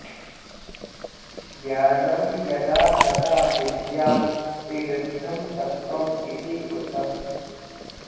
ज्ञानम् यदा तदा विद्यात् विवृद्धम् सत्त्वम् इति उत